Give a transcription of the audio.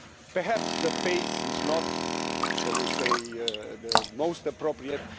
Perhaps the pace is not, shall we say, the most appropriate.